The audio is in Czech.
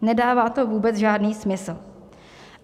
Nedává to vůbec žádný smysl.